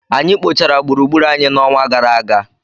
Anyị kpochara gburugburu anyị n'ọnwa gara aga.